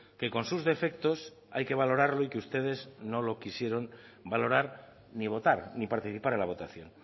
que con sus defectos hay que valorarlo y que ustedes no lo quisieron valorar ni votar ni participar en la votación